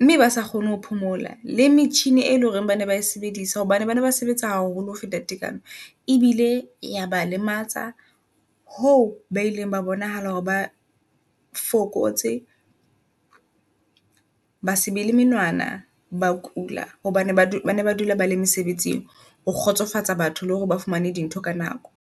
mme ba sa kgone ho phomola le metjhini, e leng hore bana bae sebedisa hobane bane ba sebetsa haholo ho feta tekano. Ebile yaba lematsa ho ba ileng ba bonahala hore ba fokotse ba se be le menwana ba kula hobane ba bane ba dula ba le mesebetsing. Ho kgotsofatsa batho, le hore ba fumane di ntho ka nako.